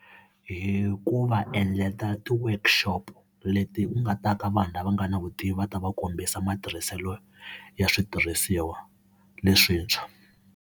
H kuva endlela ti-workshop leti u nga ta ka vanhu lava nga na vutivi u ta va kombisa matirhiselo ya switirhisiwa leswintshwa.